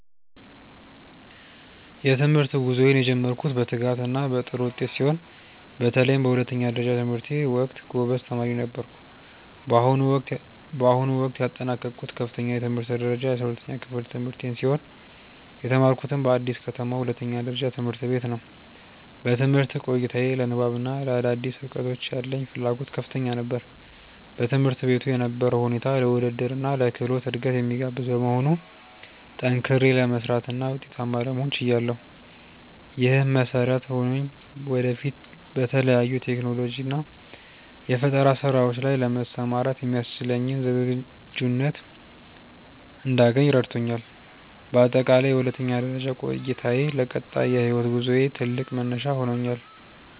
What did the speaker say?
የትምህርት ጉዞዬን የጀመርኩት በትጋትና በጥሩ ውጤት ሲሆን፣ በተለይም በሁለተኛ ደረጃ ትምህርቴ ወቅት ጎበዝ ተማሪ ነበርኩ። በአሁኑ ወቅት ያጠናቀቅኩት ከፍተኛ የትምህርት ደረጃ የ12ኛ ክፍል ትምህርቴን ሲሆን፣ የተማርኩትም በአዲስ ከተማ ሁለተኛ ደረጃ ትምህርት ቤት ነው። በትምህርት ቆይታዬ ለንባብና ለአዳዲስ እውቀቶች ያለኝ ፍላጎት ከፍተኛ ነበር። በትምህርት ቤቱ የነበረው ሁኔታ ለውድድርና ለክህሎት እድገት የሚጋብዝ በመሆኑ፣ ጠንክሬ ለመስራትና ውጤታማ ለመሆን ችያለሁ። ይህም መሰረት ሆኖኝ ወደፊት በተለያዩ የቴክኖሎጂና የፈጠራ ስራዎች ላይ ለመሰማራት የሚያስችለኝን ዝግጁነት እንዳገኝ ረድቶኛል። በአጠቃላይ የሁለተኛ ደረጃ ቆይታዬ ለቀጣይ የህይወት ጉዞዬ ትልቅ መነሻ ሆኖኛል።